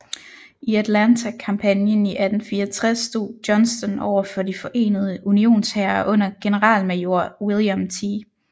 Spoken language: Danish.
I Atlanta kampagnen i 1864 stod Johnston overfor de forenede Unionshære under generalmajor William T